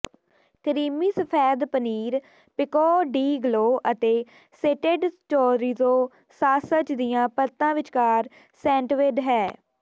creamy ਸਫੈਦ paneer pico de gallo ਅਤੇ sauteed chorizo sausage ਦੀਆਂ ਪਰਤਾਂ ਵਿਚਕਾਰ ਸੈਂਟਿਵਡ ਹੈ